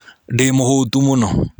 Ndĩmũhũtu mũno